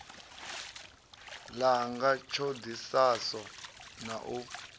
langa ṱho ḓisiso na u